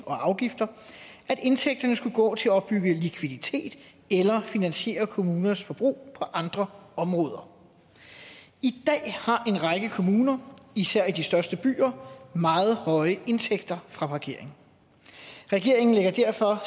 og afgifter at indtægterne skulle gå til at opbygge likviditet eller finansiere kommunernes forbrug på andre områder i dag har en række kommuner især i de største byer meget høje indtægter fra parkering regeringen lægger derfor